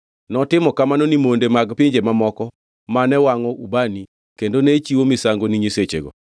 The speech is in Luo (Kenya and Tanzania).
Notimo kamano ni monde mag pinje mamoko mane wangʼo ubani kendo ne chiwo misango ni nyisechegigo.